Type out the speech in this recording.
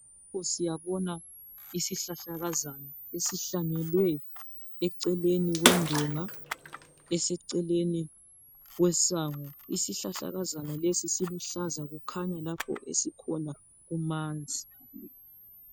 Siyabona isihlahlakazana esihlanyelwe eceleni kwendonga, eseceleni kwesango. Isihlahlakazana lesi diluhlaza. Kukhanya lapha esikhona kumanzi.